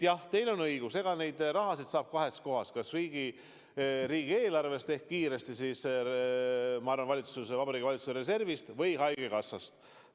Jah, teil on õigus, seda raha saab kahest kohast: kas riigieelarvest ehk praegu kiiresti Vabariigi Valitsuse reservist või haigekassast.